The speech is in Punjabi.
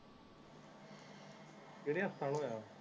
ਕੇਡੇ ਹਸਪਤਾਲ ਹੋਇਆ ਏ